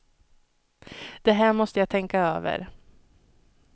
Det här måste jag tänka över.